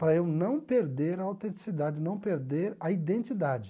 Para eu não perder a autenticidade, não perder a identidade.